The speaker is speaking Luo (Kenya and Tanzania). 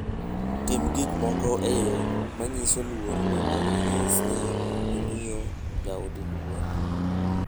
Tim gik moko e yo manyiso luor mondo inyis ni imiyo jaodi luor.